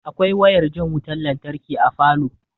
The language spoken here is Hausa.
Akwai wayar jan wutan lantarki a falow